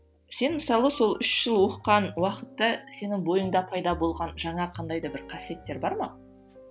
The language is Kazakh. сен мысалы сол үш жыл оқыған уақытты сенің бойыңда пайда болған жаңа қандай да бір қасиеттер бар ма